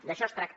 d’això es tracta